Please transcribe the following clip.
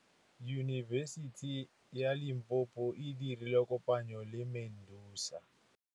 Yunibesiti ya Limpopo e dirile kopanyô le MEDUNSA.